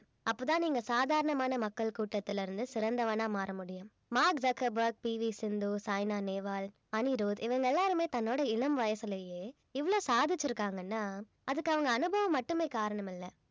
அப்பதான் நீங்க சாதாரணமான மக்கள் கூட்டத்திலிருந்து சிறந்தவனா மாற முடியும். Mark Zuckerberg, P. V Sindhu, Saina Nehwal, Anirudh இவங்க எல்லாருமே தன்னோட இளம் வயசிலேயே இவ்வளவு சாதிச்சிருக்காங்கன்னா அதுக்கு அவங்க அனுபவம் மட்டுமே காரணம் இல்ல